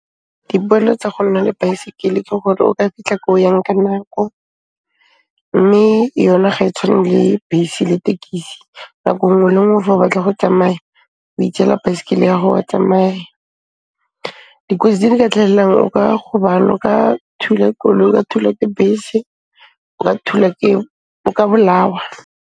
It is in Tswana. Dipoelo tsa go nna le baesekele ke gore o ka fitlha ko o yang ka nako, mme yone ga e tshwane le bese le tekisi. Nako nngwe le nngwe fa o batla go tsamaya, o itseela baesekele ya 'go, wa tsamaya. Dikotsi tse di ka tlhahellang, o ka gobala, o ka thula koloi, wa thulwa ke bese, o ka thulwa ke, o ka bolawa.